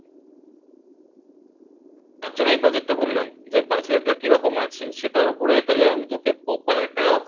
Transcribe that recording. তার জন্য এই Budget টা বললাম যে Budget টা কিরকম আছে সেটার ওপরে তাহলে আমি তোকে Proper